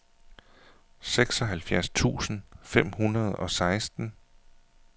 seksoghalvfjerds tusind fem hundrede og seksten